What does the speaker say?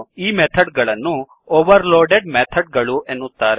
ಈ ಮೆಥಡ್ ಗಳನ್ನು overloaded method ಗಳು ಎನ್ನುತ್ತಾರೆ